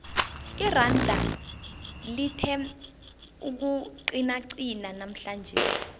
iranda lithe ukuqinaqina namhlanje